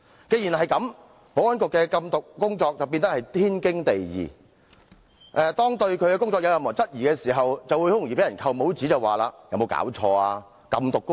保安局的禁毒工作亦因此變得天經地義，如果有人質疑該局的工作，便會被人扣帽子，甚至提出"有沒有搞錯？